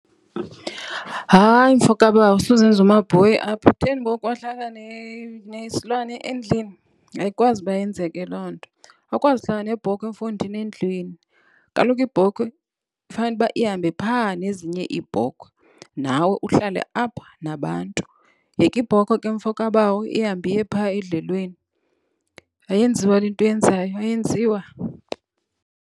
Hayi, mfo kabawo. Suzenza umabhoyi apha. Utheni ngoku wahlala nesilwane endlini. Ayikwazi uba yenzeke loo nto. Awukwazi uhlala nebhokhwe, mfondini, endlwini. Kaloku ibhokhwe fanuba ihambe phaa nezinye iibhokhwe nawe uhlale apha nabantu. Yeka ibhokhwe ke, mfo kabawo, ihambe iye phaa edlelweni. Ayenziwa le nto uyenzayo, ayenziwa.